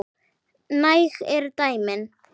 Næg eru dæmin.